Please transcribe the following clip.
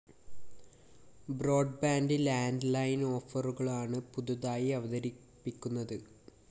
broadband landline ഓഫറുകളാണ് പുതുതായി അവതരിപ്പിക്കുന്നത്